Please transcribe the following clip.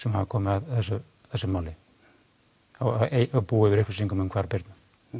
hafi komið að þessu máli búi yfir upplýsingum um Birnu